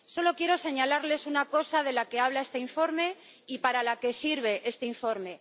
Solo quiero señalarles una cosa de la que habla este informe y para la que sirve este informe.